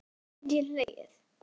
Nú get ég hlegið.